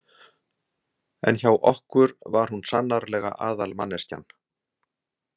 En hjá okkur var hún sannarlega aðalmanneskjan.